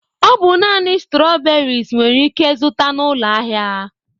Ọ bụ naanị strawberries nwere ike zụta n'ụlọ ahịa.